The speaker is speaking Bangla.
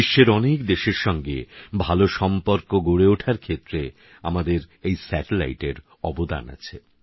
বিশ্বেরঅনেকদেশেরসঙ্গেভালোসম্পর্কেরগড়েওঠারক্ষেত্রেআমাদেরএইএরঅবদানআছে